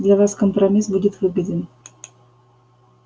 для вас компромисс будет выгоден